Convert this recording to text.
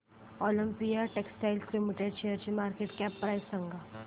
Olympia textiles limited शेअरची market cap price सांगा